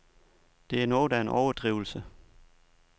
Det er noget af en overdrivelse.